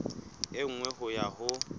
e nngwe ho ya ho